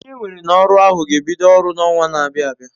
Onye enwere n'oru ohu g'ebido oru n'owa n'abia abia